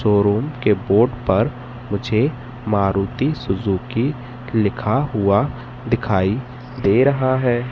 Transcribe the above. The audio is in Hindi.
शोरूम के बोर्ड पर मुझे मारुति सुजुकी लिखा हुआ दिखाई दे रहा है।